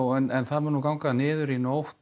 en það mun ganga niður í nótt